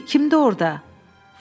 Hey, kimdir orda?